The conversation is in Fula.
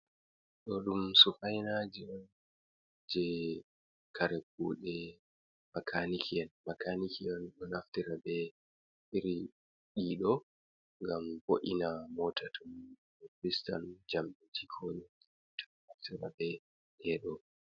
Ɗo ɗum sufainaji je kare kuɗe makaniki'en. Makaniki'en ɗo naftira be iri ɗiɗo ngam bo'ina mota to fistan jamɗe konii to naftira be ɗedo.